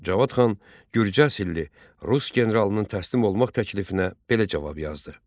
Cavad xan gürcə asıllı rus generalının təslim olmaq təklifinə belə cavab yazdı.